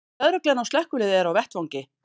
Lögreglan og slökkvilið eru á vettvangi